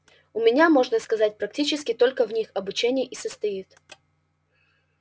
у меня можно сказать практически только в них обучение и состоит